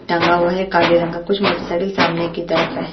टंगा हुआ है काले रंग का कुछ मोटरसाइकिल सामने की तरफ है।